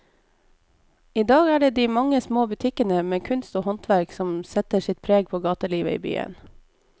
I dag er det de mange små butikkene med kunst og håndverk som setter sitt preg på gatelivet i byen.